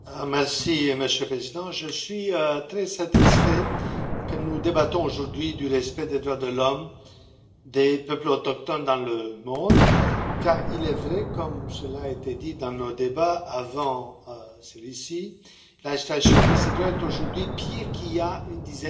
Monsieur le Président, je suis très satisfait que nous débattions aujourd'hui du respect des droits de l'homme des peuples autochtones dans le monde, car il est vrai, comme cela a été dit dans nos débats avant celui ci, que la situation de ces droits est aujourd'hui pire qu'il y a une dizaine d'années